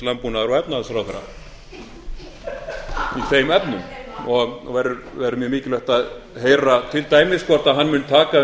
landbúnaðar og efnahagsráðherra í þeim efnum og verður mjög mikilvægt að heyra til dæmis hvort hann mun taka